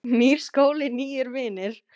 Nýr skóli, nýir vinir.